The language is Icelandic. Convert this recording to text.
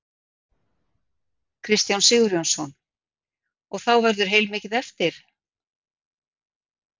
Kristján Sigurjónsson: Og þá verður heilmikið eftir?